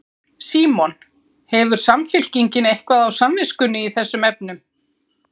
Símon: Hefur Samfylkingin eitthvað á samviskunni í þessum efnum?